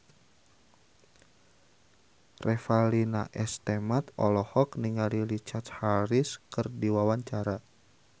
Revalina S. Temat olohok ningali Richard Harris keur diwawancara